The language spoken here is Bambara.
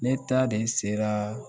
Ne ta de sera